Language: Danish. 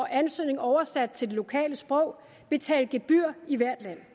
ansøgning oversat til det lokale sprog og betale gebyr i hvert land